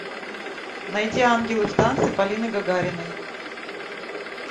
найди ангелы в танце полины гагариной